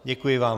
Děkuji vám.